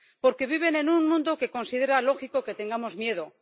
Porque viven en un mundo que considera lógico que tengamos miedo.